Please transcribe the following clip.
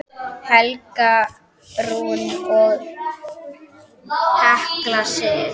Helga Rún og Hekla Sif.